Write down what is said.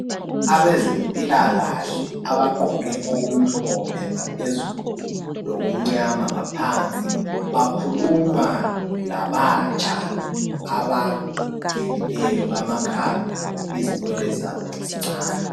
Abezempila kahle abaqgoke okumhlophe ngaphezulu lokumnyama ngaphansi bakhuluma labatsha abagelileyo amakhanda izinwele zabo zincane